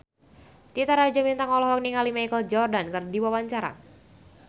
Titi Rajo Bintang olohok ningali Michael Jordan keur diwawancara